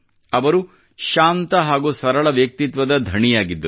ಅವರು ಶಾಂತ ಹಾಗೂ ಸರಳ ವ್ಯಕ್ತಿತ್ವದ ಧಣಿಯಾಗಿದ್ದರು